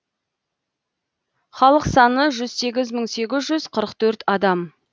халық саны жүз сегіз мың сегіз жүз қырық төрт адам